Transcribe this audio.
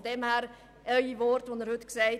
Es wurde denn auch ein Antrag dazu gestellt.